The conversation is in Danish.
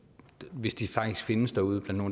hvis de faktisk findes derude